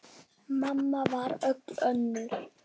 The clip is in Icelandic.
Mamma varð öll önnur.